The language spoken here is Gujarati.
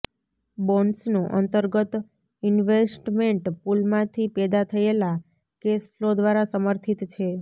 બોન્ડ્સનું અંતર્ગત ઇન્વેસ્ટમેન્ટ પુલમાંથી પેદા થયેલા કેશ ફ્લો દ્વારા સમર્થિત છે